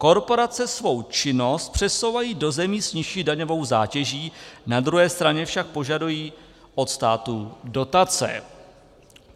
Korporace svou činnost přesouvají do zemí s nižší daňovou zátěží, na druhé straně však požadují od států dotace.